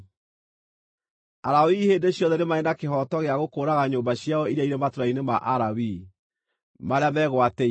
“ ‘Alawii hĩndĩ ciothe nĩ marĩ na kĩhooto gĩa gũkũũraga nyũmba ciao iria irĩ matũũra-inĩ ma Alawii, marĩa megwatĩire.